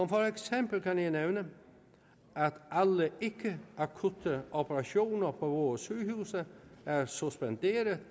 for eksempel kan jeg nævne at alle ikke akutte operationer på vores sygehuse er suspenderet